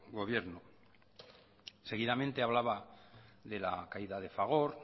gobierno seguidamente hablaba de la caída de fagor